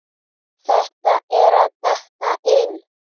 Þetta er að detta inn.